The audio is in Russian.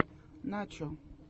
начо